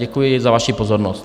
Děkuji za vaši pozornost.